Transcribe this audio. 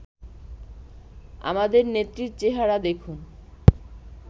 আমাদের নেত্রীর চেহারা দেখুন